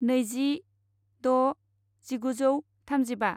नैजि द' जिगुजौ थामजिबा